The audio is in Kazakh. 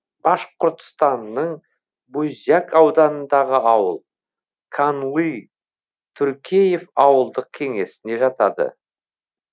башқұртстанның буздяк ауданындағы ауыл канлы туркеев ауылдық кеңесіне жатады